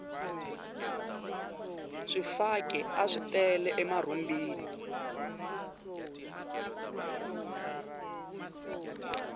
swifaki aswi tele emarhumbini